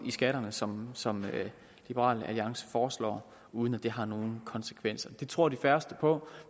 i skatterne som som liberal alliance foreslår uden at det har nogen konsekvenser det tror de færreste på